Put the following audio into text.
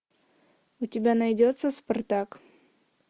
у тебя найдется спартак